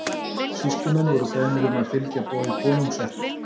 Sýslumenn voru beðnir um að fylgja boði konungs eftir.